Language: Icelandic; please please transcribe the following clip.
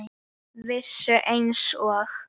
Vissu einsog